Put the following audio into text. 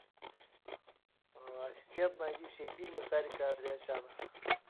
ассистент найди все фильмы сарика андреасяна